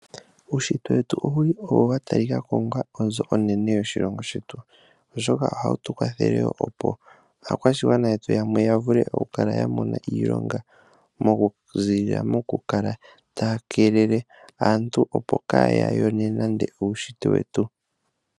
Uunshitwe wetu owuli owo wa talikako onga onzo onene oshimaliwa moshilongo shetu, oshoka oha wu tu kwathele opo aakwashigwana yetu yamwe ya vule oku kala ya mona iilonga, oku ziilila moku kala taya keelele aantu, opo kaaya yone nande uunshitwe wetu.